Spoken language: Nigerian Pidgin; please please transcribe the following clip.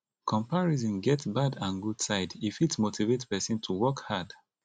comparison get bad and good side e fit motivate person to work hard